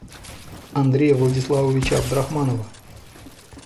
андрея владиславовича абдрахманова